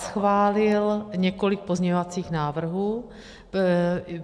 Schválil několik pozměňovacích návrhů.